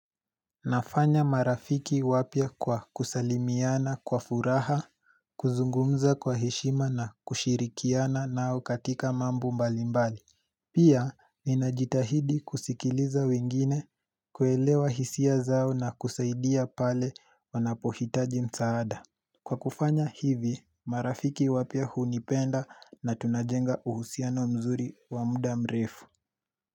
Nafanya marafiki wapia kwa kusalimiana kwa furaha, kuzungumza kwa hishima na kushirikiana nao katika mambo mbalimbali Pia ninajitahidi kusikiliza wengine kuelewa hisia zao na kusaidia pale wanapohitaji msaada Kwa kufanya hivi marafiki wapia hunipenda na tunajenga uhusiano mzuri wa muda mrefu.